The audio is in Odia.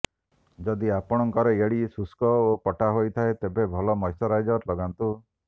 ଯଦି ଆପଣଙ୍କର ଏଡ଼ି ଶୁଷ୍କ ଓ ପଟା ହୋଇଥାଏ ତେବେ ଭଲ ମଶ୍ଚରାଇଜର ଲଗାନ୍ତୁ